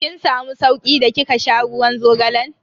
Kin samu sauki da kika sha ruwan zogalan?